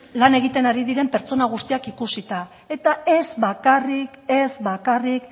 lan egiten ari diren pertsonak guztiak ikusita eta ez bakarrik ez bakarrik